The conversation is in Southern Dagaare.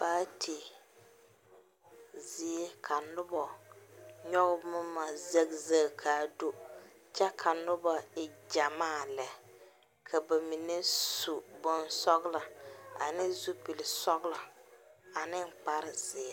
Paate zie ka noba nyoge boma zegzeg kaa do kyɛ ka noba e gyamaa le. Ka ba mene su boŋ sɔglɔ, ane zupul sɔglɔ, ane kpar zie